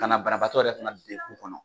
Ka na banabatɔ yɛrɛ fana dekun kɔnɔ.